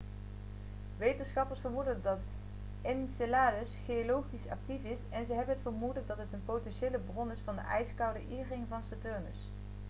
wetenschappers vermoeden dat enceladus geologisch actief is en ze hebben het vermoeden dat het een potentiële bron is van de ijskoude e-ring van saturnus